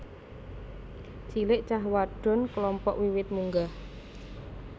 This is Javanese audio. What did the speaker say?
cilek cah wadon klompok wiwit munggah